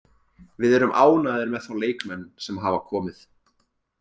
Við erum ánægðir með þá leikmenn sem hafa komið.